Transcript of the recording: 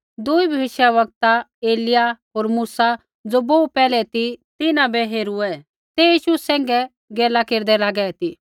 दुई भविष्यवक्ता एलिय्याह होर मूसा ज़ो बोहू पैहलै ती तिन्हां बै हेरूऐ ते यीशु सैंघै गैला केरदै लागै ती